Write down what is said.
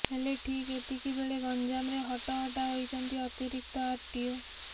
ହେଲେ ଠିକ ଏତିକି ବେଳେ ଗଞ୍ଜାମରେ ହଟହଟା ହୋଇଛନ୍ତି ଅତିରିକ୍ତ ଆରଟିଓ